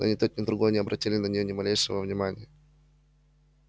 но ни тот ни другой не обратили на нее ни малейшего внимания